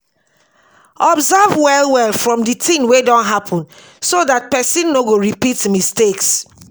observe well well from di thing wey don happen so dat person no go repeat mistakes